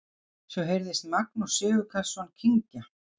Svo heyrðist Magnús Sigurkarlsson kyngja.